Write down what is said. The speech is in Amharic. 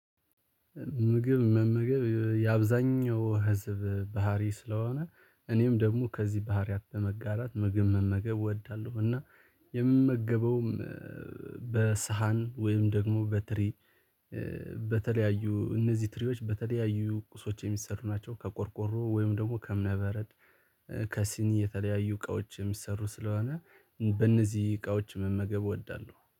ምግብ መመገብ የአብዛኛው ህዝብ ባህሪ ስለሆነ እኔም ደግሞ ከዚህ ባህሪያት በመጋራት ምግብ መመገብ እወዳለሁ። እና የምመገበውም በሳህን ወይም ደግሞ በትሪ። በተለያዩ እነዚህ ትሪዎች በተለያዩ ቁሶች የሚሰሩ ናቸው። ከቆርቆሮ ወይም ደግሞ ከእምነ በረድ ከሲኒ የተለያዩ እቃዎች የሚሰሩ ስለሆነ በእነዚህ እቃዎች መመገብ እወዳለሁ